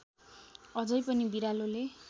अझै पनि बिरालोले